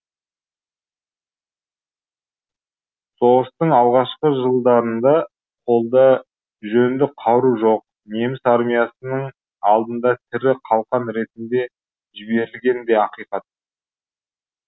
соғыстың алғашқы жылдарында қолда жөнді қару жоқ неміс армиясының алдына тірі қалқан ретінде жіберілгені де ақиқат